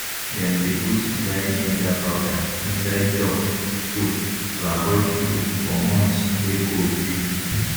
dem dey put dry ginger powder inside duck food to avoid flu for months wey cold dey